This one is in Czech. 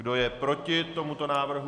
Kdo je proti tomuto návrhu?